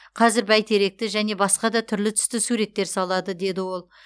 қазір бәйтеректі және басқа да түрлі түсті суреттер салады деді ол